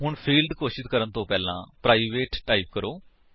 ਹੁਣ ਫੀਲਡ ਘੋਸ਼ਿਤ ਕਰਨ ਤੋਂ ਪਹਿਲਾਂ ਪ੍ਰਾਈਵੇਟ ਟਾਈਪ ਕਰੋ